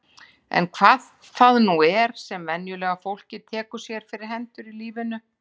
Eða hvað það nú er sem venjulega fólkið tekur sér fyrir hendur í lífi sínu.